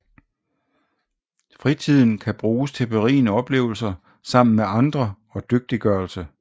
Fritiden kan bruges til berigende oplevelser sammen med andre og dygtiggørelse